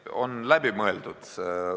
Ei, on läbi mõeldud.